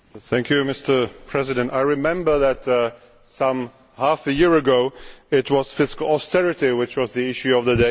Mr President, I remember that half a year ago it was fiscal austerity which was the issue of the day.